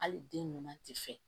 Hali den ɲuman tɛ fɛ